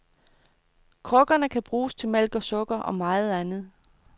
Krukkerne kan bruges til mælk og sukker, og meget andet.